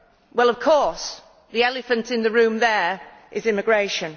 Well, of course, the elephant in the room there is immigration.